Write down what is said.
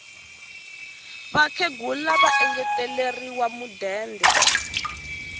vakhegula va engeteriwe mudende